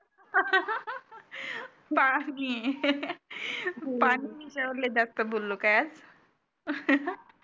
पाणी पाणी या विषयावरच जास्त बोललो का आज